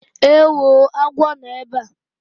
Ewoo! agwọ nọ ebe a!